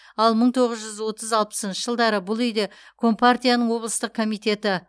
ал мың тоғыз жүз отыз алпысыншы жылдары бұл үйде компартияның облыстық комитеті